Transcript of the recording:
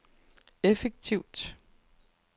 effektivt